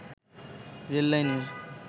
rail লাইনের